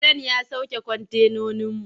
Kiren ya sauke kwantenoninmu.